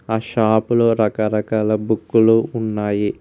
ఆ షాపు లో రకరకాల బుక్కు లు ఉన్నాయి.